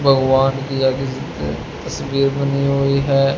भगवान की या किसी की तस्वीर बनी हुई है।